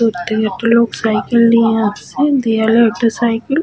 ওদিক থেকে একটা লোক সাইকেল নিয়ে আসছে দেওয়ালে একটা সাইকেল --